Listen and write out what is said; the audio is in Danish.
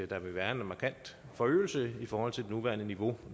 der vil være en markant forøgelse i forhold til det nuværende niveau